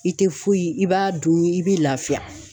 I tɛ foyi i b'a dun i bɛ lafiya.